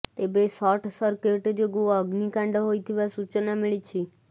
ତେବେ short circuit ଯୋଗୁଁ ଅଗ୍ନିକାଣ୍ଡ ହୋଇଥିବା ସୂଚନା ମିଳିଛି